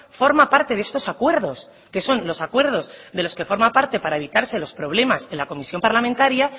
forma parte de estos acuerdos que son los acuerdos de los que forma parte para evitarse los problemas en la comisión parlamentaria